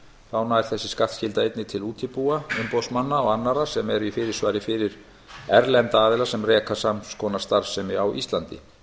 þá nær þessi skattskylda einnig til útibúa umboðsmanna og annarra sem eru í fyrirsvari fyrir erlenda aðila sem reka sams konar starfsemi á íslandi